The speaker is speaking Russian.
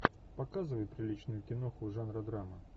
показывай приличную киноху жанра драма